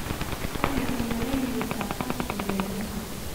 Tani waxay yaraynaysaa kharashka gaadiidka.